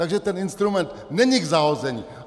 Takže ten instrument není k zahození.